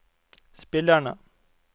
spillerne